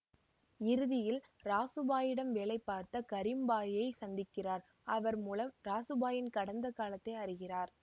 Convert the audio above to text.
இறுதியில் ராசு பாயிடம் வேலைபுரிந்த கரிம் பாயை சந்திக்கிறார் அவர் மூலம் ராசு பாயின் கடந்த காலத்தை அறிகிறார்